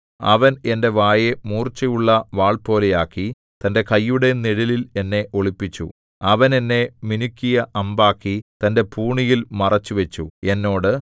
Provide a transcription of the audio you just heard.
അവൻ എന്റെ വായെ മൂർച്ചയുള്ള വാൾപോലെയാക്കി തന്റെ കൈയുടെ നിഴലിൽ എന്നെ ഒളിപ്പിച്ചു അവൻ എന്നെ മിനുക്കിയ അമ്പാക്കി തന്റെ പൂണിയിൽ മറച്ചുവച്ചു എന്നോട്